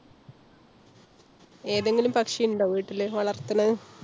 ഏതെങ്കിലും പക്ഷി ണ്ടോ? വീട്ടില് വളർത്തുണത്.